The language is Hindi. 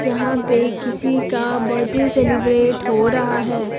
यहां पे किसी का बर्थडे सेलिब्रेट हो रहा हैं।